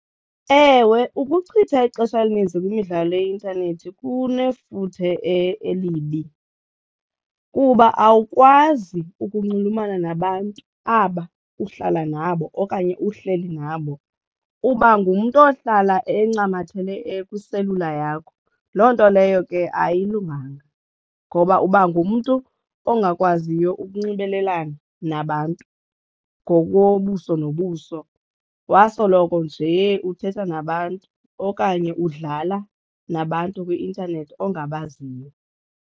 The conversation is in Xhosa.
Ewe ukuchitha ixesha elininzi kwimidlalo yeintanethi kunefuthe elibi kuba awukwazi ukunxulumana nabantu aba uhlala nabo okanye uhleli nabo, uba ngumntu ohlala encamathele kwiselula yakho. Loo nto leyo ke ayilunganga ngoba uba ngumntu ongakwaziyo ukunxibelelana nabantu ngokobuso nobuso wasoloko njee uthetha nabantu okanye udlala nabantu kwi-intanethi ongabaziyo.